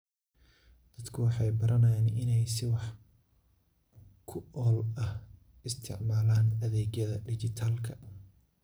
Dadku waxay baranayaan inay si wax ku ool ah u isticmaalaan adeegyada dhijitaalka ah.